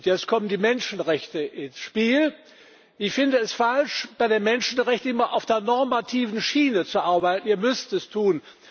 Jetzt kommen die Menschenrechte ins Spiel Ich finde es falsch, bei den Menschenrechten immer auf der normativen Schiene zu arbeiten ihr müsst es tun.